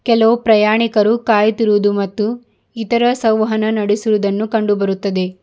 ಕೆಲವು ಪ್ರಯಾಣಿಕರು ಕಾಯುತ್ತಿರುವುದು ಮತ್ತು ಇತರ ಸೌಹಾನ ನಡೆಸಿರುವುದನ್ನು ಕಂಡು ಬರುತ್ತದೆ.